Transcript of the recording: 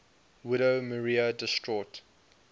widow maria distraught